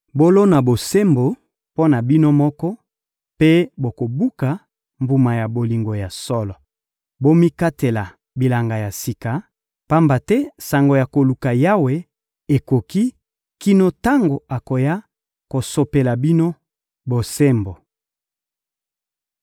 Bolona bosembo mpo na bino moko mpe bokobuka mbuma ya bolingo ya solo. Bomikatela bilanga ya sika, pamba te tango ya koluka Yawe ekoki kino tango akoya kosopela bino bosembo.